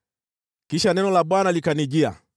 Kisha neno la Bwana likanijia: